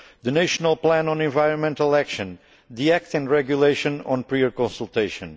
the national plan on environmental action the act and regulation on prior consultation